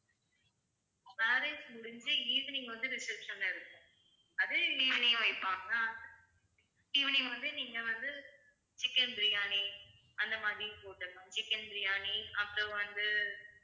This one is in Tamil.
marriage முடிஞ்சி evening வந்து reception ல இருப்போம் அதே evening வைப்பாங்க evening வந்து நீங்க வந்து chicken பிரியாணி அந்த மாதிரி போட்டுடலாம் chicken பிரியாணி அப்புறம் வந்து